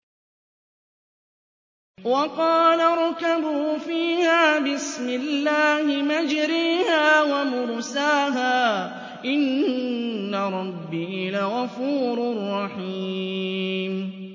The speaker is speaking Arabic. ۞ وَقَالَ ارْكَبُوا فِيهَا بِسْمِ اللَّهِ مَجْرَاهَا وَمُرْسَاهَا ۚ إِنَّ رَبِّي لَغَفُورٌ رَّحِيمٌ